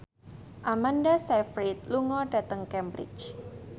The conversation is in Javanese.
Amanda Sayfried lunga dhateng Cambridge